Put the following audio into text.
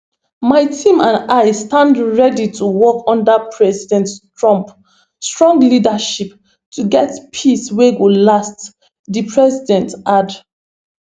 my team and i stand ready to work under president trump strong leadership to get peace wey go last di president add